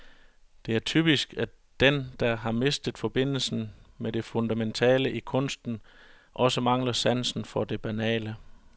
Det er typisk, at den der har mistet forbindelsen med det fundamentale i kunsten også mangler sansen for det banale.